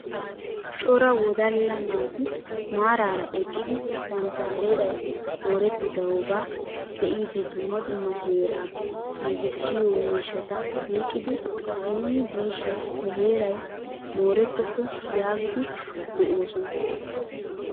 Cora wodalla naati maarara eqqidi bantta heeray moorettidogaa be'idi dumma dumma heeraa giigissiyoo miishshata oyqqidi nuuni diishin nu heeray moorettopo yaagidi de'oosona!